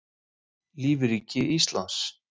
Lífríki Íslands.